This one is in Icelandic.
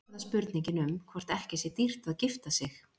Og þá er það spurningin um hvort ekki sé dýrt að gifta sig.